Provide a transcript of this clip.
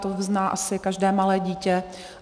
To uzná asi každé malé dítě.